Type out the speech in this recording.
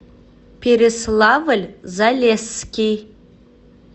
переславль залесский